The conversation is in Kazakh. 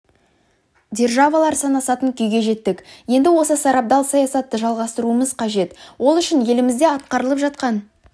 державалар санасатын күйге жеттік енді осы сарабдал саясатты жалғастыруымыз қажет ол үшін елімізде атқарылып жатқан